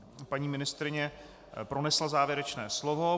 Paní ministryně pronesla závěrečné slovo.